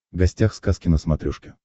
гостях сказки на смотрешке